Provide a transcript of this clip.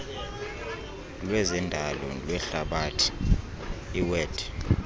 lwezendalo lwehlabathi iwed